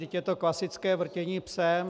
Vždyť je to klasické vrtění psem.